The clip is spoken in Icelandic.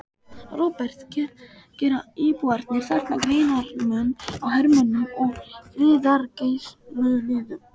Róbert: Gera íbúarnir þarna greinarmun á hermönnum og friðargæsluliðum?